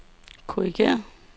korrigér